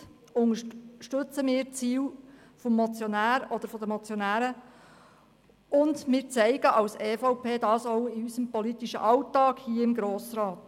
Soweit unterstützen wir die Ziele der Motionäre und zeigen dies als EVP auch in unserem politischen Alltag hier im Grossen Rat.